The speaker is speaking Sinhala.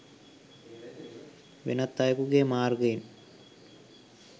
වෙනත් අයෙකුගේ මාර්ගයෙන්